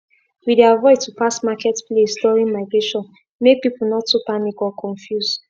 we dey avoid to pass market place during migration make people nor too panic or confuse